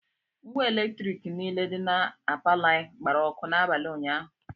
Ngwa Eletriki niile dị na palọ anyị gbara ọkụ n'abalị ụnyaahụ